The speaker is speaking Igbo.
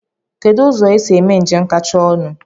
Kedụ ụzọ esi eme njem kachasị ọnụ?